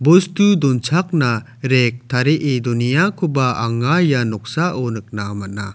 bostu donchakna rek tarie doneakoba anga ia noksao nikna man·a.